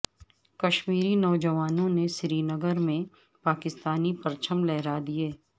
کشمیری نوجوانوں نے سرینگر میں پاکستانی پرچم لہرا دیئے